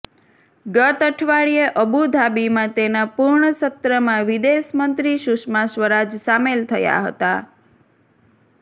ગત અઠવાડિયે અબુ ધાબીમાં તેના પૂર્ણ સત્રમાં વિદેશ મંત્રી સુષમા સ્વરાજ સામેલ થયા હતાં